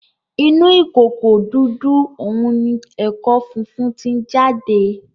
Inú ìkòkò dúdú òún ní ẹko fífún tí jáde